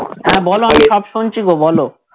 হ্যাঁ বলো আমি সব শুনছিগো বলো